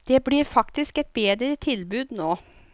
Det blir faktisk et bedre tilbud nå.